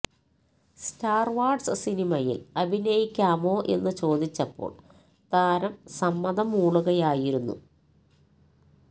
star Wars സിനിമയിൽ അഭിനയിക്കാമോ എന്ന് ചോദിച്ചപ്പോൾ താരം സമ്മതം മൂളുകയായിരുന്നു